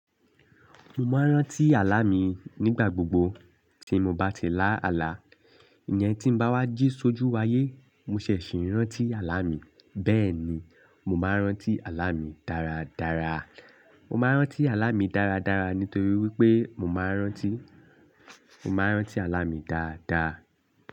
Mo máa ń rántí àlá mi nígbà gbogbo tí mo bá ti lá àlá. Iyẹn tí n bá wá jí ṣojú wáyé mo ṣẹ̀ ṣì ń rántí àlá mi. Bẹ́ẹ̀ ni, mo máa ń rántí àlá mi dáradára. Mo máa ń rántí àlá mi dáradára nítorí wípé mo máa ń rántí, mo máa ń rántí àlá mi dáadáa.